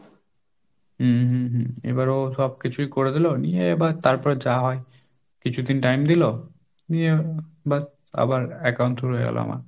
হম হম এবার ও সবকিছুই করে দিল, নিয়ে এবার তারপরে যা হয়, কিছুদিন time দিল নিয়ে ব্যাস আবার account খুলে গেল আমার।